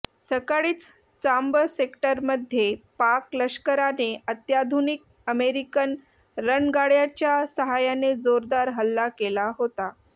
सकाळीच चांब सेक्टरमध्ये पाक लष्कराने अत्याधुनिक अमेरिकन रणगाडय़ाच्या साह्याने जोरदार हल्ला केला होता